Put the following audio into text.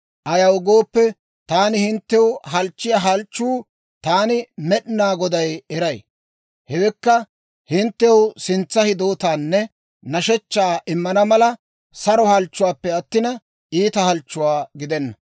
Ayaw gooppe, taani hinttew halchchiyaa halchchuwaa taani Med'inaa Goday eray; hewekka, hinttew sintsa hidootaanne nashshechchaa immana mala, saro halchchuwaappe attina, iita halchchuwaa gidenna.